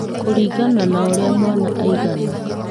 Kũringana na ũrĩa mwana aigana